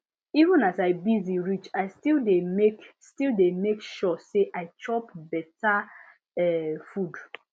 even as i busy reach i still dey make still dey make sure say i chop better um food